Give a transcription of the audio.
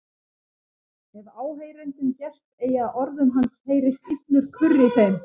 Ef áheyrendum gest eigi að orðum hans heyrist illur kurr í þeim.